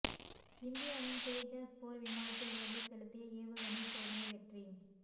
இந்தியாவின் தேஜாஸ் போர் விமானத்தில் இருந்து செலுத்திய ஏவுகணை சோதனை வெற்றி